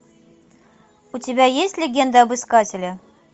у тебя есть легенда об искателе